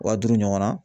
Wa duuru ɲɔgɔnna